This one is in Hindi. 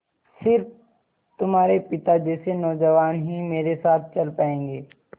स़िर्फ तुम्हारे पिता जैसे नौजवान ही मेरे साथ चल पायेंगे